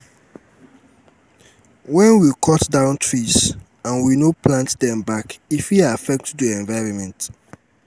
wen we cut down trees and we no plant dem back e fit affect do environment